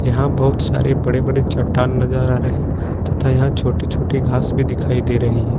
यहां बहुत सारे बड़े बड़े चट्टान नजर आ रहे तथा यहां छोटी छोटी घास भी दिखाई दे रही है।